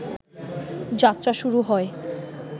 যাত্রা শুরু হয়